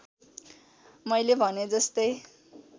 मैले भने जस्तै